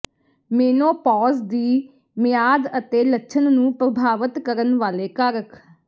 menopause ਦੀ ਮਿਆਦ ਅਤੇ ਲੱਛਣ ਨੂੰ ਪ੍ਰਭਾਵਤ ਕਰਨ ਵਾਲੇ ਕਾਰਕ